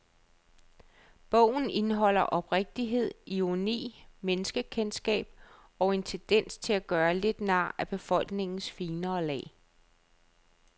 Bogen indeholder oprigtighed, ironi, menneskekendskab og en tendens til at gøre lidt nar af befolkningens finere lag.